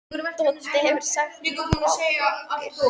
Doddi hefur sagt mér frá ykkur.